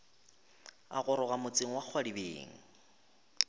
a goroga motseng wa kgwadibeng